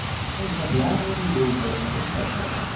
નહીં એમાં ધ્યાન એટલું દેવું પડે ને પૈસાય મળે.